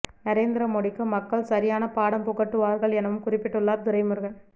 நரேந்திர மோடிக்கு மக்கள் சரியான பாடம் புகட்டுவார்கள் எனவும் குறிப்பிட்டுள்ளார் துரைமுருகன்